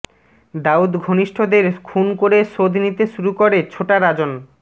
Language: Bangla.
দাউদ ঘনিষ্ঠদের খুন করে শোধ নিতে শুরু করে ছোটা রাজন